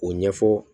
O ɲɛfɔ